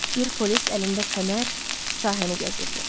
Bir polis əlində fənər sahəni gəzirdi.